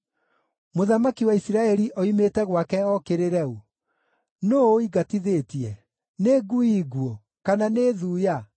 “Mũthamaki wa Isiraeli oimĩte gwake ookĩrĩre ũ? Nũũ ũingatithĩtie? Nĩ ngui nguũ? Kana nĩ thuya?